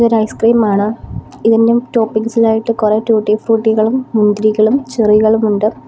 ഇത് ഐസ്ക്രീമാണ് ഇതിനും ടോപ്പിംഗ്സ് ഇലായിട്ട് കുറേ ട്യൂട്ടി ഫ്രൂട്ടികളും മുന്തിരികളും ചെറികളുമുണ്ട്.